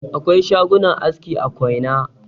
Akwai shagunan aski a koina.